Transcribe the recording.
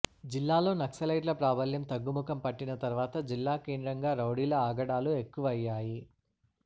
జిల్లాలో నక్సలైట్ల ప్రాబల్యం తగ్గుముఖం పట్టిన తర్వాత జిల్లాకేంద్రంగా రౌడీల ఆగడాలు ఎక్కువయ్యాయి